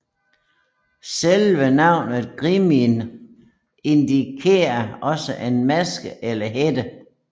Selve navnet Grímnir indikerer også en maske eller hætte